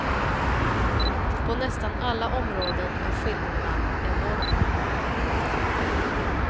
På nästan alla områden är skillnaderna enorma.